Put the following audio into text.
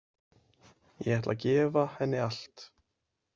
Ég ætla að gefa henni allt.